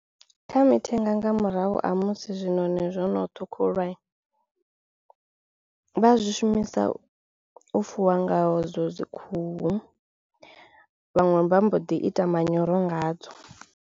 Kha mithenga nga murahu ha musi zwiṋoni zwono ṱhukhuliwai vha a zwi shumisa u fuwa ngaho zwo dzi khuhu vhaṅwe vha mbo ḓi ita manyoro ngadzo.